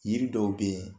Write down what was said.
Yiri dɔw be yen